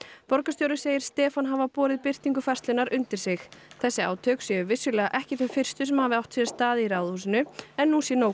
borgarstjóri segir Stefán hafa borið birtingu færslunnar undir sig þessi átök séu vissulega ekki þau fyrstu sem hafa átt sér stað í Ráðhúsinu en nú sé